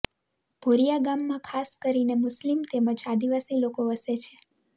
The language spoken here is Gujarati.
ભોરિયા ગામમાં ખાસ કરીને મુસ્લીમ તેમ જ આદિવાસી લોકો વસે છે